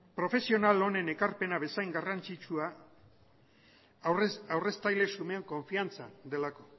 profesional onen ekarpena bezain garrantzitsua aurreztaile xumeen konfidantza delako